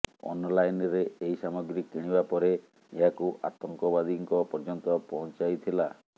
ଅନଲାଇନ୍ରେ ଏହି ସାମଗ୍ରୀ କିଣିବା ପରେ ଏହାକୁ ଆତଙ୍କବାଦୀଙ୍କ ପର୍ଯ୍ୟନ୍ତ ପହଞ୍ଚାଇଥିଲା